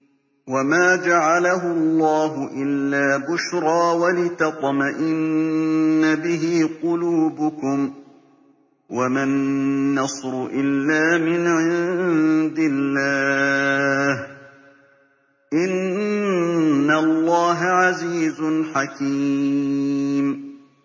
وَمَا جَعَلَهُ اللَّهُ إِلَّا بُشْرَىٰ وَلِتَطْمَئِنَّ بِهِ قُلُوبُكُمْ ۚ وَمَا النَّصْرُ إِلَّا مِنْ عِندِ اللَّهِ ۚ إِنَّ اللَّهَ عَزِيزٌ حَكِيمٌ